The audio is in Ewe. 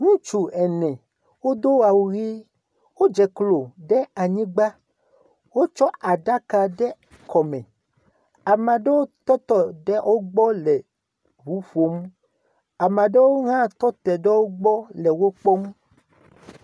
Ŋutsu ene wodo awu ʋi, wodze klo ɖe anyigbã. Wotsɔ aɖaka ɖe kɔ me. Ame aɖewo tɔte ɖe wogbɔ le nuƒom. Ame aɖewo hã tɔte ɖe wogbɔ le wokpɔm.